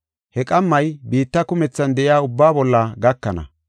He qammay biitta kumethan de7iya ubbaa bolla gakana.